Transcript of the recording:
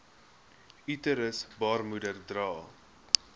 uterus baarmoeder dra